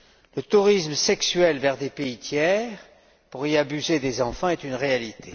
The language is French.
Le tourisme sexuel vers des pays tiers pour y abuser des enfants est une réalité.